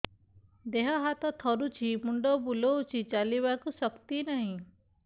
ଦେହ ହାତ ଥରୁଛି ମୁଣ୍ଡ ବୁଲଉଛି ଚାଲିବାକୁ ଶକ୍ତି ନାହିଁ